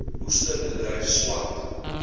oester bedryf swart